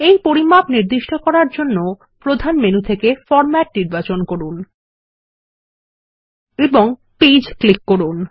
এই পরিমাপ নির্দিষ্ট করার জন্য প্রধান মেনু থেকে ফরমেট নির্বাচন করুন এবং পেজ ক্লিক করুন